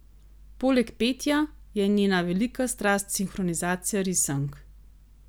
Poleg petja, je njena velika strast sinhronizacija risank.